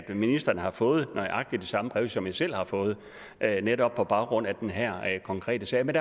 ministeren har fået nøjagtig det samme brev som jeg selv har fået netop på baggrund af den her konkrete sag men